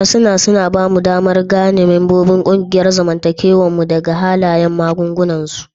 Harsuna don haka suna aiki da aikin ba mu damar gane membobin ƙungiyar zamantakewar mu daga halayen maganganunsu.